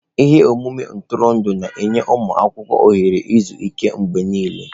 Ihe omume ntụrụndụ na-enye ụmụ akwụkwọ ohere izu ike mgbe niile.